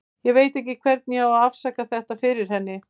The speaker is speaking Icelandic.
Ég veit ekki hvernig ég á að afsaka þetta fyrir henni.